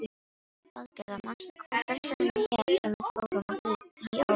Valgerða, manstu hvað verslunin hét sem við fórum í á þriðjudaginn?